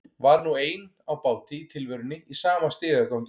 Var nú ein á báti í tilverunni í sama stigagangi og þau.